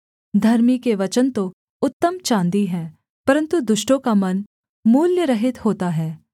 धर्मी के वचन तो उत्तम चाँदी हैं परन्तु दुष्टों का मन बहुत हल्का होता है